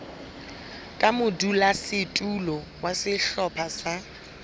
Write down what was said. ka modulasetulo wa sehlopha sa